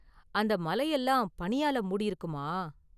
அந்த​ மலை எல்லாம் பனியால மூடியிருக்குமா?